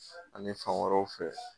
Ani fan wɛrɛw fɛ